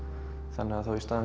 þannig að í stað